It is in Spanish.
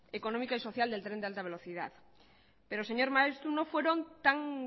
económica y social del tren de alta velocidad pero señor maeztu no fueron tan